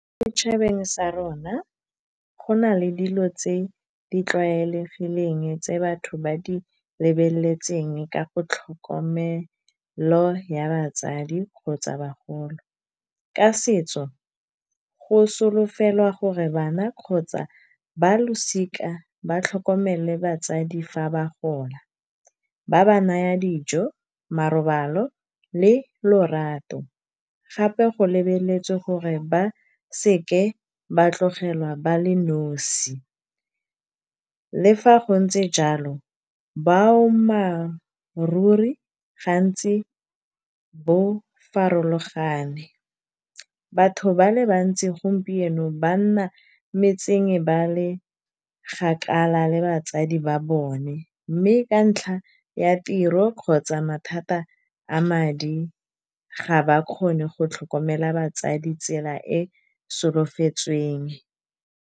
Mo setšhabeng sa rona go na le dilo tse di tlwaelegileng, tse batho ba di lebeletseng ka go tlhokomelo ya batsadi kgotsa bagolo. Ka setso go solofelwa gore bana kgotsa ba losika ba tlhokomele batsadi fa ba gola, ba ba naya dijo marobalo le lorato. Gape go lebeletswe gore ba seke ba tlogelwa ba le nosi, le fa go ntse jalo boammaaruri gantsi bo farologane, batho ba le bantsi gompieno banna metseng ba le gakala le batsadi ba bone. Mme ka ntlha ya tiro kgotsa mathata a madi, ga ba kgone go tlhokomela batsadi tsela e solofetsweng.